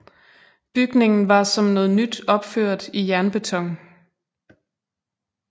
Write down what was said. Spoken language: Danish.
Bygningen var som noget nyt opført i jernbeton